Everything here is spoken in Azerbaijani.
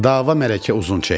Dava mələkə uzun çəkdi.